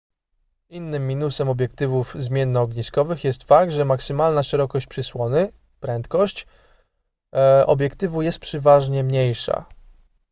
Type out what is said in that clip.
innym minusem obiektywów zmiennoogniskowych jest fakt że maksymalna szerokość przysłony prędkość obiektywu jest przeważnie mniejsza